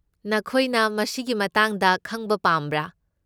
ꯅꯈꯣꯏꯅ ꯃꯁꯤꯒꯤ ꯃꯇꯥꯡꯗ ꯈꯪꯕ ꯄꯥꯝꯕ꯭ꯔꯥ?